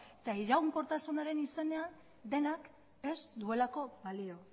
eta iraunkortasunaren izena dena ez duelako balio